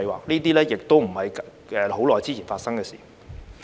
這些亦不是很久之前發生的事。